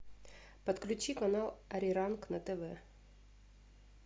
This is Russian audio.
подключи канал ариранг на тв